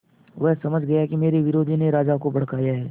वह समझ गया कि मेरे विरोधियों ने राजा को भड़काया है